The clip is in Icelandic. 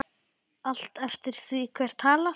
Allt eftir því hver talar.